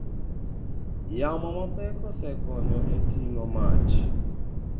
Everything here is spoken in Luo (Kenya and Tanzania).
Yamo mapek osekonyo e ting'o mach.